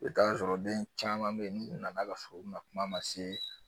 I bɛ taa sɔrɔ den caman bɛ yen n'u nana ka so bina kuma ma se